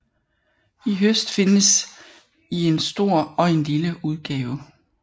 I høst findes i en stor og en lille udgave